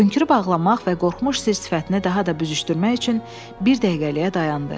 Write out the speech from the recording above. Hönkürüb ağlamaq və qorxmuş sir sifətinə daha da büzüşdürmək üçün bir dəqiqəliyə dayandı.